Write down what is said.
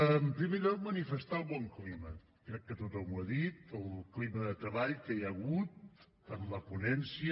en primer lloc manifestar el bon clima crec que tothom ho ha dit el clima de treball que hi ha hagut en la ponència